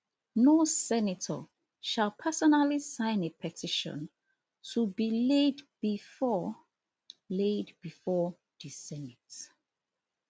no senator shall personally sign a petition to be laid bifor laid bifor di senate